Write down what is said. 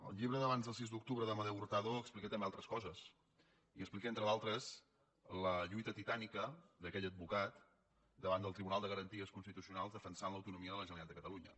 el llibre hurtado explica també altres coses i explica entre d’altres la lluita titànica d’aquell advocat davant del tribunal de garanties constitucionals que defensava l’autonomia de la generalitat de catalunya